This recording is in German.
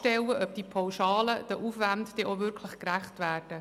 Wir stellen infrage, dass die Pauschalen den Aufwänden wirklich gerecht werden.